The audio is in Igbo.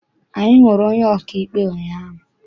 Anyị hụrụ onye ọkaikpe ụnyaahụ.